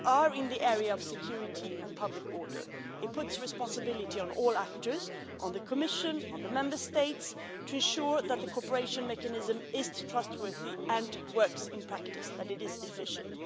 We are in the area of security and public order, and that places responsibility on all those involved, the Commission and the Member States, to ensure that the cooperation mechanism is trustworthy, works in practice and is efficient.